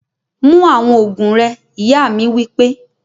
Mu awọn oogun rẹ! iya mi wipe